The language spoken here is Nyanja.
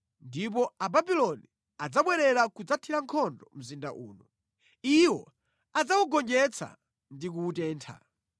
Ndipo Ababuloni adzabwerera kudzathira nkhondo mzinda uno. Iwo adzawugonjetsa ndi kuwutentha.